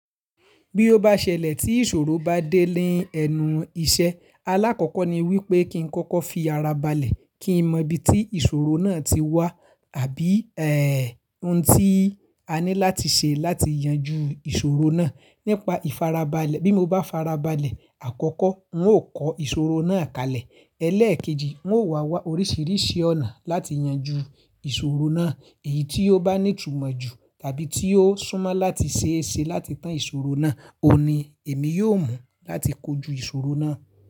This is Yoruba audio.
Bí ó bá ṣẹlẹ̀ tí ìṣòro bá dé ní ẹnu iṣẹ́, alákọ̀kọ́ ni wípé kí n kọ́kọ́ fi ara balẹ̀ kí n mọ ibi tí ìṣòro náà ti wá àbí ẹ́, ohun tí a ní láti ṣe láti yanjú ìṣòro náà. Nípa ìfarabalẹ̀, bí mo bá farabalẹ̀, àkọ́kọ́ ń ó kọ ìṣòro náà kalẹ̀. Elẹ́ẹ̀kejì, ń ó wà wá oríṣìíríṣìí ọ̀nà láti yanjú ìṣòro náà. Èyí tí ó bá ní ìtumọ̀ ju tàbí tí ó súnmọ́ láti ṣe ẹ ṣe láti tán ìṣòro náà, òun ni èmi yóò mú láti kojú ìṣòro náà.